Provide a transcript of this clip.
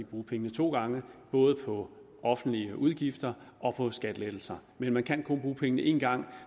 bruge pengene to gange både på offentlige udgifter og på skattelettelser men man kan kun bruge pengene én gang